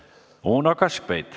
Uno Kaskpeit.